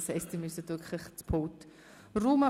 Das heisst, Sie müssen wirklich das Pult räumen.